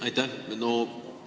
Aitäh!